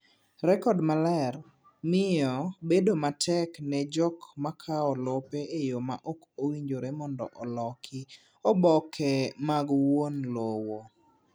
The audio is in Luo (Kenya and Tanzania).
Rekod maler miyo bedo matek ne jok makawo lope e yo ma okowinjore mondo oloki oboke mag wuon lowo.